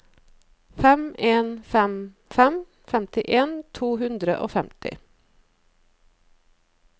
fem en fem fem femtien to hundre og femti